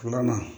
Filanan